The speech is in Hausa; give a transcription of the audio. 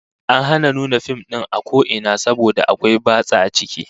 An hana nuna fim din a ko ina saboda akwai batsa a ciki